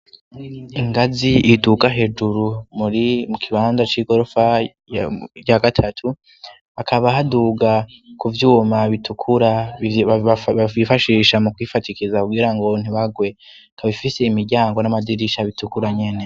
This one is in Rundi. Ingazi iduka hejuru muri mu kibanza c'igorofa rya gatatu akaba haduga ku byuma bitukura babifashisha mu kwifatikiza ugira ngo ntibagwe kabifise imiryango n'amadirisha bitukura nyene.